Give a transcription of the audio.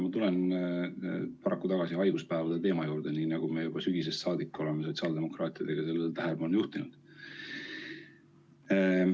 Ma tulen paraku tagasi haiguspäevade teema juurde, nii nagu me juba sügisest saadik oleme sotsiaaldemokraatidega sellele tähelepanu juhtinud.